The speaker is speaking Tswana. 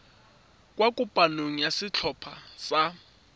kwa kopanong ya setlhopha sa